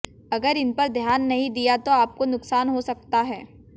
अगर इनपर ध्यान नहीं दिया तो आपको नुकसान हो सकता है